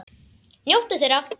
Njóttu þeirra!